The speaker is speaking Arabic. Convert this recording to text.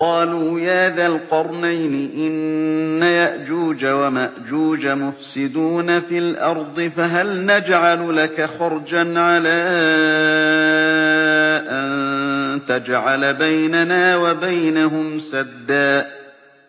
قَالُوا يَا ذَا الْقَرْنَيْنِ إِنَّ يَأْجُوجَ وَمَأْجُوجَ مُفْسِدُونَ فِي الْأَرْضِ فَهَلْ نَجْعَلُ لَكَ خَرْجًا عَلَىٰ أَن تَجْعَلَ بَيْنَنَا وَبَيْنَهُمْ سَدًّا